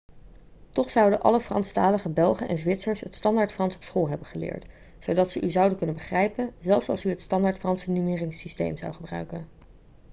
toch zouden alle franstalige belgen en zwitsers het standaardfrans op school hebben geleerd zodat ze u zouden kunnen begrijpen zelfs als u het standaardfranse nummeringssysteem zou gebruiken